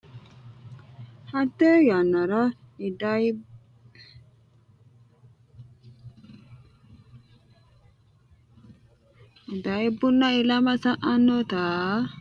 Hatte yannara idayibbunna ilama sa anni dagginota ikkitinota anfe wolu meenti insa dukkise uurranno Hatte yannara idayibbunna ilama sa anni dagginota ikkitinota.